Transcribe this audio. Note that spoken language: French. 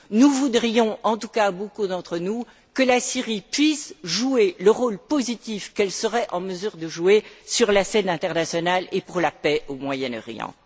Nous voudrions en tout cas beaucoup d'entre nous que la Syrie puisse jouer le rôle positif qu'elle serait en mesure d'avoir sur la scène internationale et pour la paix au Moyen Orient.